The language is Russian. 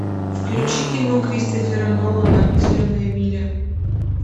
включи кино кристофера нолана зеленая миля